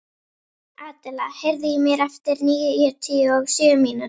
Adela, heyrðu í mér eftir níutíu og sjö mínútur.